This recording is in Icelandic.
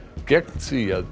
gegn því að